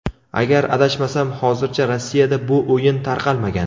Agar adashmasam, hozircha Rossiyada bu o‘yin tarqalmagan.